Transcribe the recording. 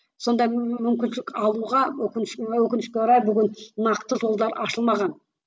сондай мүмкіншілік алуға өкінішке орай өкінішке орай бүгін нақты жолдар ашылмаған